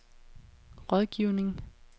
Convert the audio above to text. rådgivning